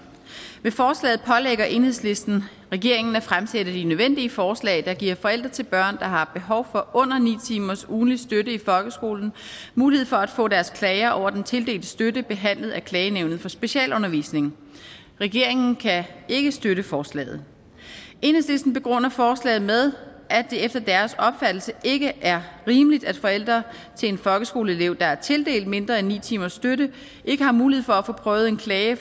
med forslaget pålægger enhedslisten regeringen at fremsætte de nødvendige forslag der giver forældre til børn der har behov for under ni timers ugentlig støtte i folkeskolen mulighed for at få deres klager over den tildelte støtte behandlet af klagenævnet for specialundervisning regeringen kan ikke støtte forslaget enhedslisten begrunder forslaget med at det efter deres opfattelse ikke er rimeligt at forældre til en folkeskoleelev der er tildelt mindre end ni timers støtte ikke har mulighed for at få prøvet en klage